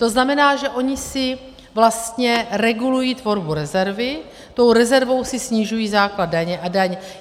To znamená, že ony si vlastně regulují tvorbu rezervy, tou rezervou si snižují základ daně a daň.